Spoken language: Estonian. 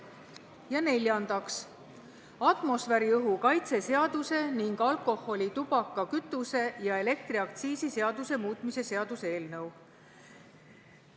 Ja neljandaks, atmosfääriõhu kaitse seaduse ning alkoholi-, tubaka-, kütuse- ja elektriaktsiisi seaduse muutmise seaduse eelnõu.